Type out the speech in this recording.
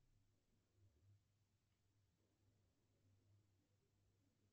джой сколько банкоматов у сбербанка